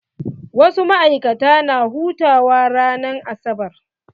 Wasu maikata na hutawa ran asabar.